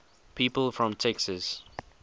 people from texas